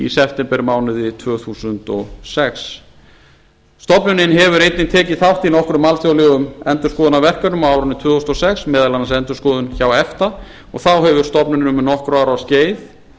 septembermánuði tvö þúsund og sex stofnunin hefur einnig tekið þátt í nokkrum alþjóðlegum endurskoðunarverkefnum á árinu tvö þúsund og sex meðal annars endurskoðun hjá efta og þá hefur stofnunin um nokkurra ára